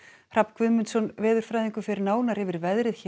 Hrafn Guðmundsson veðurfræðingur fer nánar yfir veðrið